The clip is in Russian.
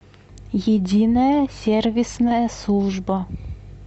единая сервисная служба